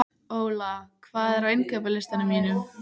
Óla, hvað er á innkaupalistanum mínum?